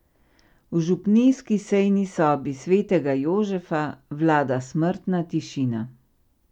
V župnijski sejni sobi svetega Jožefa vlada smrtna tišina.